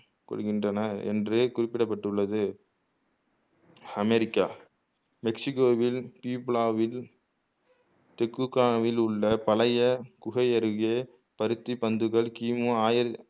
கொள்கின்றன என்று குறிப்பிடப்பட்டுள்ளது அமெரிக்கா மெக்சிக்கோவில் திரிபுலாவில் டிக்குகாவில் உள்ள பழைய குகை அருகே பருத்தி பந்துகள் கிமு ஆயிர